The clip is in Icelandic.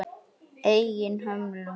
Eigin hömlum.